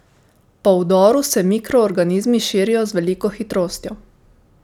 Po vdoru, se mikroorganizmi širijo z veliko hitrostjo.